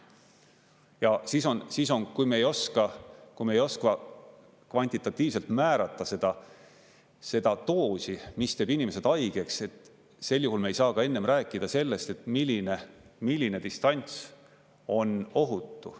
Ja kui me ei oska kvantitatiivselt määrata seda doosi, mis teeb inimesed haigeks, siis sel juhul me ei saa ka enne rääkida sellest, milline distants on ohutu.